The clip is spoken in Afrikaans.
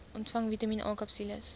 ontvang vitamien akapsules